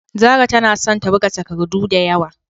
Zarah tana son ta buga takardu da yawa.